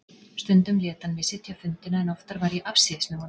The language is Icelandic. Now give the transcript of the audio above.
Stundum lét hann mig sitja fundina en oftar var ég afsíðis með honum.